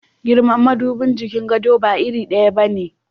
Girman madubin jikin gado ba iri daya ba ne.